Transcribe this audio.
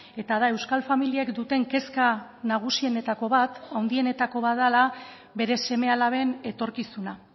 eta da euskal familiek duten kezka nagusienetako bat handienetako bat dela bere seme alaben etorkizuna